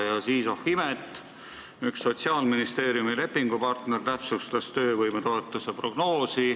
Ja siis, oh imet, üks Sotsiaalministeeriumi lepingupartner täpsustas töövõimetoetuse prognoosi.